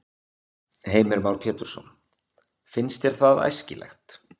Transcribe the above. Heimir Már Pétursson: Finnst þér það æskilegt?